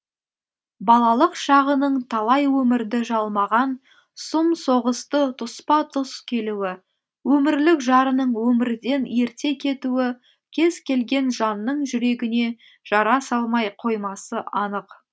балалық шағының талай өмірді жалмаған сұм соғысты тұспа тұс келуі өмірлік жарының өмірден ерте кетуі кез келген жанның жүрегіне жара салмай қоймасы анық